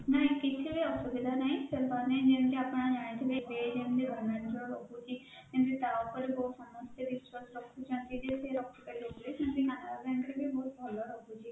ନାଇଁ କିଛି ବି ଅସୁବିଧା ନାଇଁ ସେମାନେ ଯେମିତି ଆପଣ ଜାଣିଥିବେ ସେ ଯେମିତି balance ରହୁଛି ସେମିତି ତା ଉପରେ ବହୁତ ସମସ୍ତେ ବିଶ୍ୱାସ ରଖୁଛନ୍ତି ଯେ ସେ ରଖିପାରିବେ ବୋଲି ସେମିତି canara bank ରେ ବି ବହୁତ ଭଲ ରହୁଛି